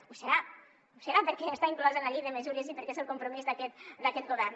ho serà perquè ja està inclosa en la llei de mesures i perquè és el compromís d’aquest govern